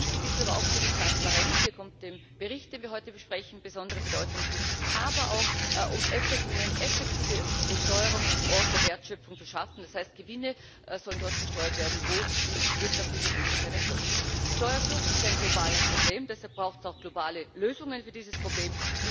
Wichtig ist es auch für die Transparenz hier kommt dem Bericht, den wir heute besprechen, besondere Bedeutung zu aber auch, um eine effektive Besteuerung am Ort der Wertschöpfung zu schaffen, das heißt Gewinne sollen dort versteuert werden, wo die wirtschaftliche Tätigkeit erfolgt. Steuerflucht ist ein globales Problem, deshalb braucht es auch globale Lösungen für dieses Problem.